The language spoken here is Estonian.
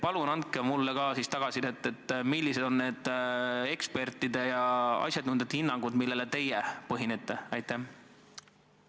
Palun andke mulle tagasisidet, millised on need asjatundjate hinnangud, millele teie tuginete!